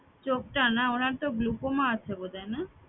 চোখটা না উনার তো glaucoma আছে বোধহয় না